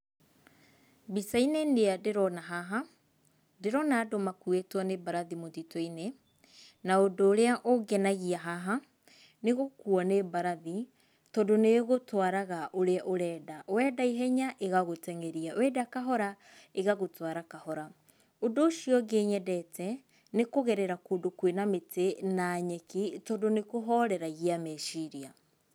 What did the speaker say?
Mbica-inĩ nĩa ndĩrona haha, ndĩrona andũ makuĩtwo nĩ mbarathi mũtitu-inĩ, na ũndũ ũrĩa ũngenagia haha nĩ gũkuo nĩ mbarathi tondũ nĩ ĩgũtwaraga ũrĩa ũrenda, wenda ihenya ĩgagũteng'eria, wenda kahora ĩgagũtwara kahora. Undũ ũcio ũngĩ nyendete nĩ kũgerera kũndũ kwĩna mĩtĩ na nyeki tondũ nĩ kũhoreragia meciria.